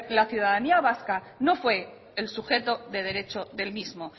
la ciudadanía vasca no fue el sujeto de derecho del mismo